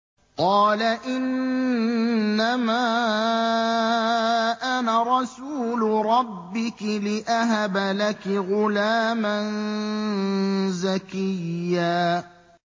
قَالَ إِنَّمَا أَنَا رَسُولُ رَبِّكِ لِأَهَبَ لَكِ غُلَامًا زَكِيًّا